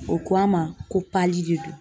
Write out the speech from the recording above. O ko an ma ko de don